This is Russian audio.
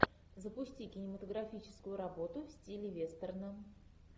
запусти кинематографическую работу в стиле вестерна